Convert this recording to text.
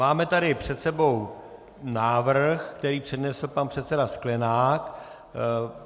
Máme tady před sebou návrh, který přednesl pan předseda Sklenák.